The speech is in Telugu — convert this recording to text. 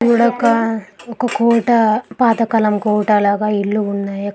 అక్కడొక ఓకే కోట పాత కాలం కోట లాగా ఇల్లు ఉన్నాయి